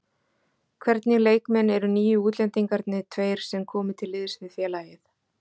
Hvernig leikmenn eru nýju útlendingarnir tveir sem komu til liðs við félagið?